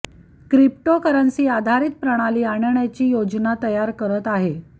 crypto currency आधारित प्रणाली आणण्याची योजना तयार करत आहे